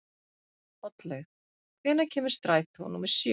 Oddlaug, hvenær kemur strætó númer sjö?